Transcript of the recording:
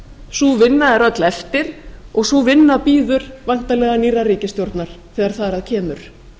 sú vinna er öll eftir og sú vinna bíður væntanlega nýrrar ríkisstjórnar þegar þar að kemur